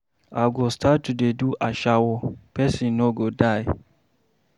I go start to dey do ashawo, person no go die